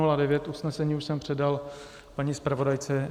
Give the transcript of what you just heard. Usnesení už jsem předal paní zpravodajce.